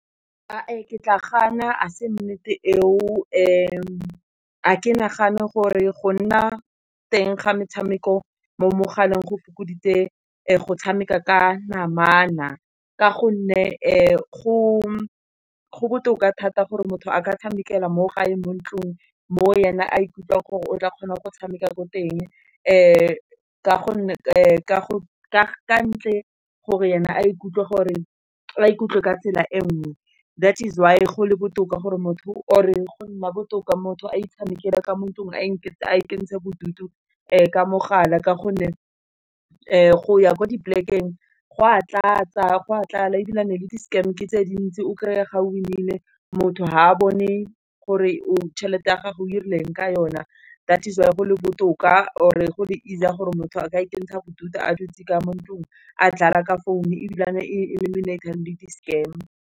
Ae, ke tla gana ga se nnete eo, fa ke nagane gore go nna teng ga metshameko mo mogaleng go fokoditse go tshameka ka namana. Ka gonne go botoka thata gore motho a ka tshamekela mo gae mo ntlung, mo yena a ikutlwang gore o tla kgona go tshameka ko teng. ntle gore yena a ikutlwe gore a ikutlwe ka tsela e nngwe, that is why go le botoka gore motho or e go nna botoka motho a itshamekela ka mo thutong a ikentshang bodutu ka mogala ka gonne go ya kwa di polekeng go a tlala ebilane le di-scam ke tse dintsi o kry-e ga o winile motho fa a bone gore o tšhelete ya gago o ileng ka yona, that is why go le botoka or go le easy-a gore motho a ka ikentshang bodutu a dutse ka mo ntlung a dlale ka mo founo ebilane e reminator le di-scam.